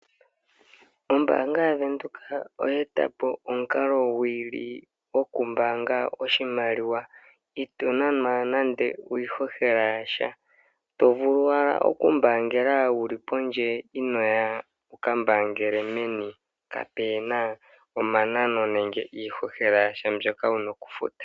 Ombaanga yaVenduka oye e ta po omukalo gwi i li gokumbaanga oshimaliwa, itoo nanwa nande iihohela ya sha to vulu wala okumbaangela wuli pondje inooya wu ka mbaangele meni kaa pe na omanano nenge iihohela ya sha mbyo wu na okufuta.